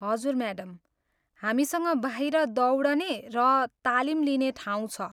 हजुर, म्याडम, हामीसँग बाहिर दौडने र तालिम लिने ठाउँ छ।